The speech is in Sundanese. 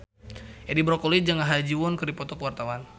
Edi Brokoli jeung Ha Ji Won keur dipoto ku wartawan